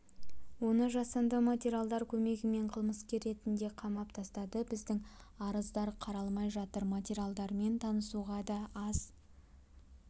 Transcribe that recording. оны жасанды материалдар көмегімен қылмыскер ретінде қамап тастады біздің арыздар қаралмай жатыр материалдармен танысуға да аз